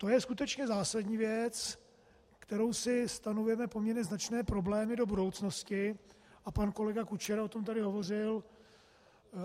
To je skutečně zásadní věc, kterou si stanovujeme poměrně značné problémy do budoucnosti, a pan kolega Kučera o tom tady hovořil.